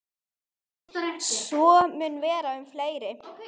Svo mun vera um fleiri.